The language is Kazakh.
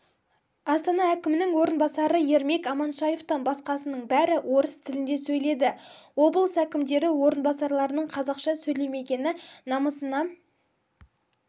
астана әкімінің орынбасары ермек аманшаевтан басқасының бәрі орыс тілінде сөйледі облыс әкімдері орынбасарларының қазақша сөйлемегені намысына